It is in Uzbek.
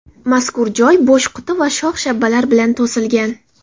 Mazkur joy bo‘sh quti va shox-shabbalar bilan to‘silgan.